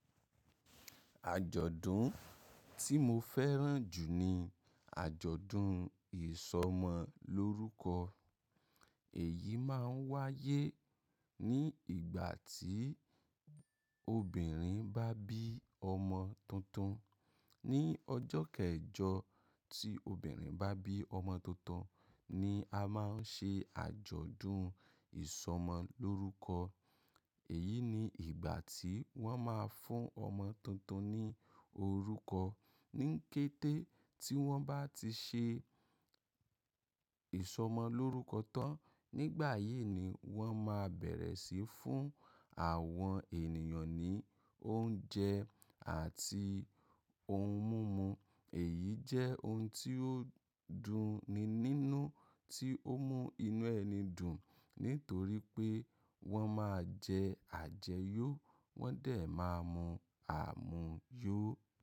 Àjọ̀dún tí mo fẹ́ràn jù ni àjọ̀dún ìsọmọlórúkọ. Èyí máa ń wáyé ní ìgbà tí obìnrin bá bí ọmọ tuntun. Ni ọjọ́ kẹjọ tí obìnrin bá bí ọmọ tuntun ni a máa ń ṣe àjọ̀dún ìsọmọlórúkọ. Èyí ni ìgbà tí wọ́n máa fún ọmọ tuntun ní orúkọ. Ní kété tí wọ́n bá ti ṣe ìsọmọlórúkọ tán, nígbà yìí ni wọ́n máa bẹ̀rẹ̀ sí fún àwọn ènìyàn ní oúnjẹ àti ohun mímu. Èyí jẹ́ ohun tí ó dunni nínú, tí ó mú inú ẹni dùn. Nítorí pé wọ́n máa jẹ àjẹ́yọ́, wọ́n dẹ̀ máa mu àmuyó.